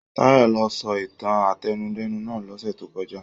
Tayọ ló sọ ìtàn átẹnudẹ́nu náà lọ́sẹ̀ tó kọjá.